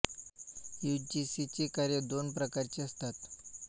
you G C ची कार्य दोन प्रकारची असतात